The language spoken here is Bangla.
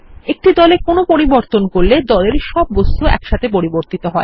একটি দলে কোন পরিবর্তন করলে দলের সব বস্তু একসাথে পরিবর্তিত হয়